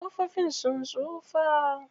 Ƙofofin sun tsufa.